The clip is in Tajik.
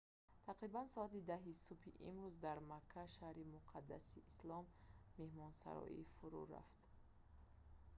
тақрибан соати 10 субҳи имрӯз дар макка шаҳри муқаддаси ислом меҳмонсарой фурӯъ рафт